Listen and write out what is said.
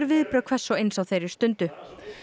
viðbrögð hvers og eins á þeirri stundu